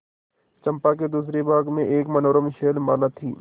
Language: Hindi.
चंपा के दूसरे भाग में एक मनोरम शैलमाला थी